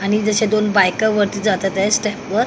आणि जसे दोन बायका वरती जातात आहे स्टेपवर .